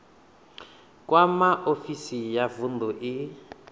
kwama ofisi ya vunḓu i